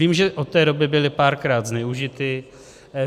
Vím, že od té doby byly párkrát zneužity.